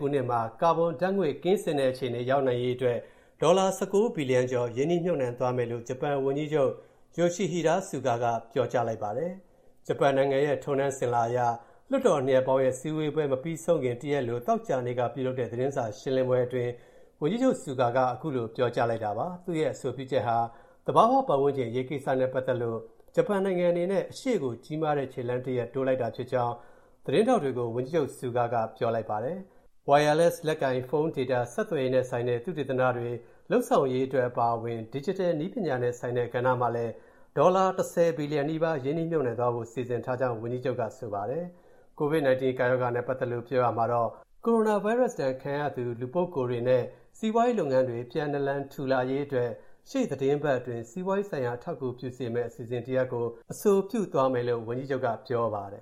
ခုနှစ်မှာ ကာဘွန်ဓါတ်ငွေ့ ကင်းစင်တဲ့အခြေအနေရောက်နိုင်ရေးအတွက် ဒေါ်လာ ၁၉ ဘီလီယံကျော် ရင်းနှီးမြုပ်နှံသွားမယ်လို့ ဂျပန်ဝန်ကြီးချုပ် Yoshihide Suga က ပြောကြားလိုက်ပါတယ်။ ဂျပန်နိုင်ငံရဲ့ ထုံးတန်းအစဉ်အလာအရ လွှတ်တော်နှစ်ရပ်ပေါင်းရဲ့ စည်းဝေးပွဲမပြီးဆုံးခင် တရက်အလို သောကြာနေ့က ပြုလုပ်တဲ့ သတင်းစာရှင်းလင်းပွဲအတွင်း ဝန်ကြီးချုပ် Suga က အဲဒီလို ပြောကြားလိုက်တာပါ။ သူ့ရဲ့ အဆိုပြုချက်ဟာ သဘာဝပတ်ဝန်းကျင် အရေးကိစ္စနဲ့ပတ်သက်လို့ ဂျပန်နိုင်ငံအနေနဲ့ အရှေ့ကို ကြီးမားတဲ့ခြေလှမ်းတရပ် တိုးလိုက်တာဖြစ်ကြောင်း သတင်းထောက်တွေကို ဝန်ကြီးချုပ် Suga က ပြောပါတယ်။ Wireless လက်ကိုင်ဖုန်း Data ဆက်သွယ်ရေးနဲ့ဆိုင်တဲ့ သုတေသနတွေ လုပ်ဆောင်ရေးအတွက် အပါအဝင် Digital နည်းပညာနဲ့ဆိုင်တဲ့ကဏ္ဍမှာလည်း ဒေါ်လာ ၁၀ ဘီလီယံနီးပါး ရင်းနှီးမြုပ်နှံသွားဖို့ စီစဉ်ထားကြောင်းလည်း ဝန်ကြီးချုပ်က ပြောပါတယ်။ ကိုဗစ်-၁၉ ကပ်ရောဂါနဲ့ပတ်သက်လို့ ပြောကြားရာမှာတော့ - ကိုရိုနာဗိုင်းရပ်ဒဏ်ခံခဲ့ရသူ လူပုဂ္ဂိုလ်တွေနဲ့ စီးပွားရေးလုပ်ငန်းတွေ ပြန်နာလန် ထူလာရေးအတွက် ရှေ့သီတင်းပတ်အတွင်း စီးပွားရေးဆိုင်ရာ အထောက်အကူပြုစေမယ့် အစီအစဉ်တရပ်ကို အဆိုပြုသွားမယ်လို့ ဝန်ကြီးချုပ်က ပြောပါတယ်။